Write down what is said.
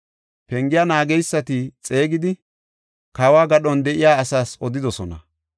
Pengiya naageysati xeegidi, kawo gadhon de7iya asaas odidosona.